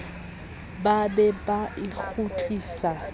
ba be ba e kgutlise